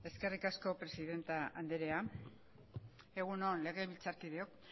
eskerrik asko presidente andrea egun on legebiltzarkideok